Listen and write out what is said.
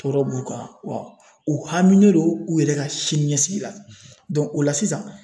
Tɔɔrɔ b'u kan wa u haminen don u yɛrɛ ka siniɲɛsigi la o la sisan